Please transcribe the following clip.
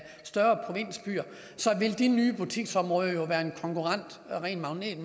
større provinsbyer så ville de nye butiksområder være en magnet